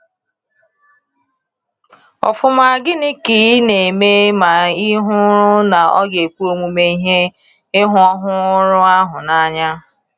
Ọfụma, gịnị ka ị ga-eme ma ị hụrụ na ọ ga-ekwe omume ịhụ ọrụ ahụ n’anya.